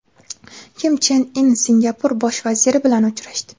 Kim Chen In Singapur bosh vaziri bilan uchrashdi .